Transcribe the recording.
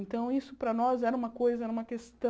Então isso para nós era uma coisa, era uma questão...